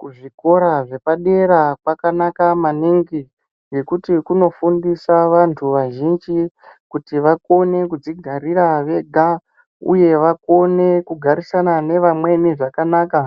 Kuzvikora zvepadera kwakanaka maningi, ngekuti kunofundisa vantu vazhinji kuti vakone kudzigarira vega uye vakone kugarisana nevamweni zvakanaka,